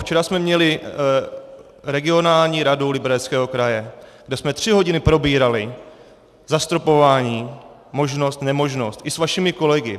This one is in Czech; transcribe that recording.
Včera jsme měli regionální radu Libereckého kraje, kde jsme tři hodiny probírali zastropování, možnost, nemožnost, i s vašimi kolegy.